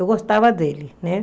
Eu gostava dele, né?